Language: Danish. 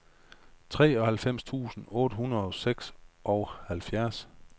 treoghalvfjerds tusind otte hundrede og seksoghalvfjerds